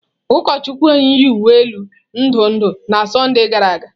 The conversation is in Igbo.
Ụkọchukwu anyị yi uwe elu ndụ ndụ na Sọnde gara aga.